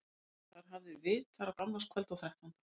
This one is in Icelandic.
Voru þar hafðir vitar á gamlárskvöld og þrettánda.